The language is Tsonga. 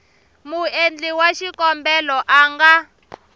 muendli wa xikombelo a nga